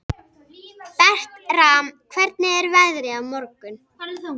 Bertram, hvernig er veðrið á morgun?